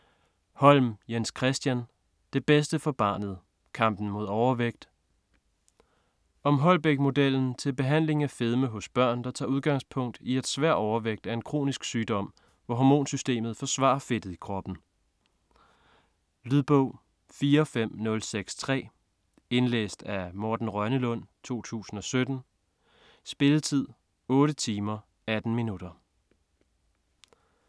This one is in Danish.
Holm, Jens-Christian: Det bedste for barnet: kampen mod overvægt Om Holbæk-modellen til behandling af fedme hos børn, der tager udgangspunkt i at svær overvægt er en kronisk sygdom hvor hormonsystemet forsvarer fedtet i kroppen. Lydbog 45063 Indlæst af Morten Rønnelund, 2017. Spilletid: 8 timer, 18 minutter.